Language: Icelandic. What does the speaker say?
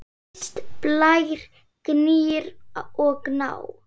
Mist, Blær, Gnýr og Gná.